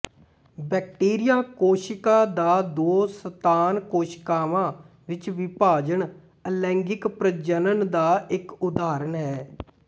bacteria ਕੋਸ਼ਿਕਾ ਦਾ ਦੋ ਸੰਤਾਨ ਕੋਸ਼ਿਕਾਵਾਂ ਵਿੱਚ ਵਿਭਾਜਨ ਅਲੈਂਗਿਕ ਪ੍ਰਜਨਨ ਦਾ ਇੱਕ ਉਦਾਹਰਨ ਹੈ